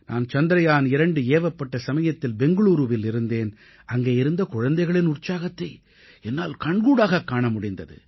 நான் சந்திரயான் 2 ஏவப்பட்ட சமயத்தில் பெங்களூரூவில் இருந்தேன் அங்கே இருந்த குழந்தைகளின் உற்சாகத்தை என்னால் கண்கூடாகக் காண முடிந்தது